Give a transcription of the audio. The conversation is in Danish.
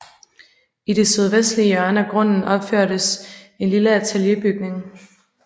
I det sydvestlige hjørne af grunden opførtes en lille atelierbygning